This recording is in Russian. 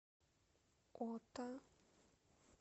ота